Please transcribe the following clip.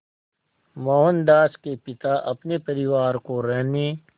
मोहनदास के पिता अपने परिवार को रहने